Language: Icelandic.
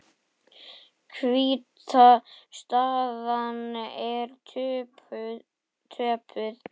Hvíta staðan er töpuð.